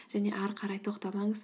және ары қарай тоқтамаңыз